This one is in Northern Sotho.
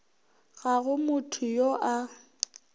ga go motho yo a